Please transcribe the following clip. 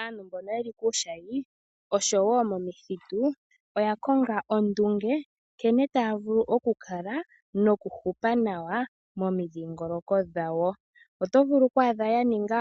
Aantu mbono yeli puushayi oshowo momithitu oya konga ondunge nkene taya vulu okukala nokuhupa nawa momidhingoloko dhawo. Oto vulu okwaadha ya ninga